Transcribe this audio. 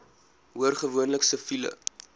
hoor gewoonlik siviele